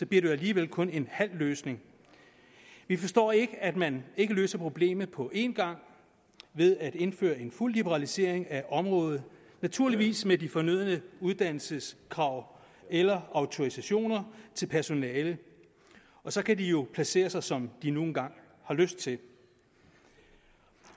det jo alligevel kun en halv løsning vi forstår ikke at man ikke løser problemet på én gang ved at indføre en fuld liberalisering af området naturligvis med de fornødne uddannelseskrav eller autorisationer til personalet og så kan de jo placere sig som de nu engang har lyst til